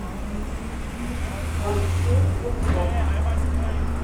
алексей ершов